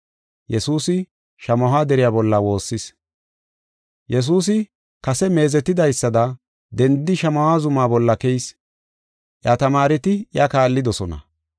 Yesuusi kase meezetidaysada dendidi Shamaho zuma bolla keyis. Iya tamaareti iya kaallidosona.